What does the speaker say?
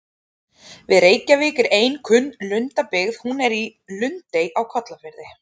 Við Reykjavík er ein kunn lundabyggð, hún er í Lundey á Kollafirði.